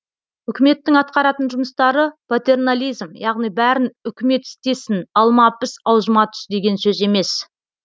үкіметтің атқаратын жұмыстары патернализм яғни бәрін үкімет істесін алма піс аузыма түс деген сөз емес